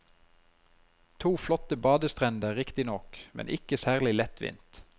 To flotte badestrender riktignok, men ikke særlig lettvint.